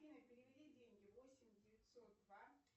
афина переведи деньги восемь девятсот два